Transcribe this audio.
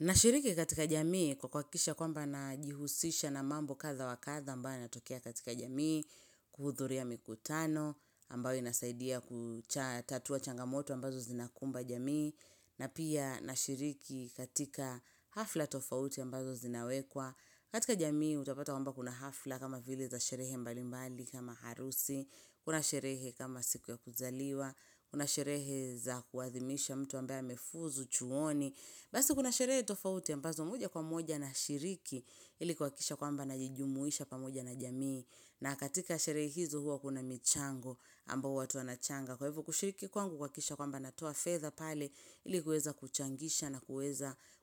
Nashiriki katika jamii kwa kwa kisha kwamba na jihusisha na mambo kadhaa wakadhaa ambayo yanatokea katika jamii kuhudhuria mikutano ambayo inasaidia kucha tatua changamoto ambazo zinakumba jamii na pia nashiriki katika hafla tofauti ambazo zinawekwa. Katika jamii utapata kwa mba kuna hafla kama vile za sherehe mbali mbali kama harusi, kuna sherehe kama siku ya kuzaliwa, kuna sherehe za kuadhimisha mtu ambaya amefuzu, chuoni. Basi kuna sherehe tofauti ambazo moja kwa moja na shiriki ilikuakisha kwamba najijumuisha pamoja na jamii. Na katika sherehe hizo huwa kuna michango ambayo huwa tuanachanga. Kwa hivo kushiriki kwangu kwa kisha kwa mba natua feather pale ilikuweza kuchangisha na